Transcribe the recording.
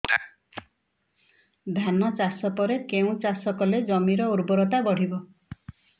ଧାନ ଚାଷ ପରେ କେଉଁ ଚାଷ କଲେ ଜମିର ଉର୍ବରତା ବଢିବ